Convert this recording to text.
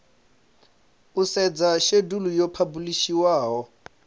u sedza shedulu yo phabulishiwaho